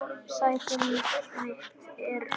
Sæti mitt er autt.